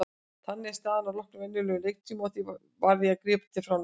Þannig var staðan að loknum venjulegum leiktíma og því varð að grípa til framlengingar.